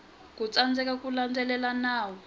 ku tsandzeka ku landzelela nawu